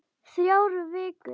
Þrjár vikur.